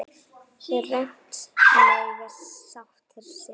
Þröngt mega sáttir sitja.